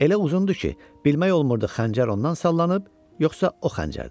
Elə uzundu ki, bilmək olmurdu xəncər ondan sallanıb, yoxsa o xəncərdən.